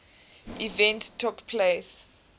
event took place